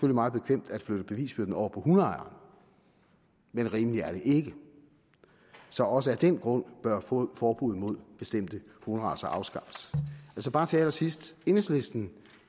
meget bekvemt at flytte bevisbyrden over på hundeejerne men rimeligt er det ikke så også af den grund bør forbuddet mod bestemte hunderacer afskaffes bare til allersidst enhedslisten